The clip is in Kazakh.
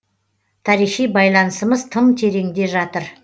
тарихи байланысымыз тым тереңде жатыр